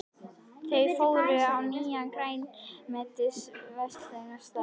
Þau fóru á nýjan grænmetisveitingastað.